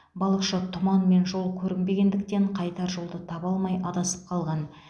балықшы тұман мен жол көрінбегендіктен қайтар жолды таба алмай адасып қалған